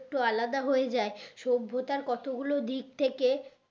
একটু আলাদা হয়ে যাই সভ্যতার কত গুলো দিক থেকে